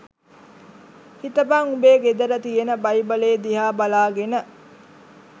හිතපං උඹේ ගෙදර තියෙන බයිබලේ දිහා බලාගෙන